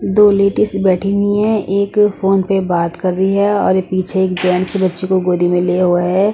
दो लेडीज से बैठी हुई हैं एक फोन पे बात कर रही हैं और ये पीछे एक जेंट्स बच्ची को गोदी में लिया हुआ हैं ।